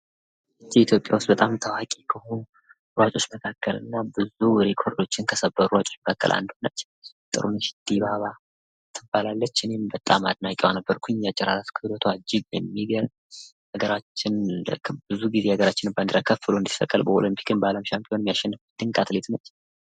ኢትዮጵያ ውስጥ ታዋቂ ከሆኑትና ብዙ ሪከርዶችን ከሰበሩ ሯጮች መካከል አንዱ የሆነው ጥሩነሽ ዲባባ ትባላለች። እኔም አድናቂዋ ነበርኩ። በጣም የምትገርም ባንዲራችን በሻምፒወናም በኦሎምፒክም ከፍ ብሎ እንዲሰቀል ያደረገች አትሌት ነች።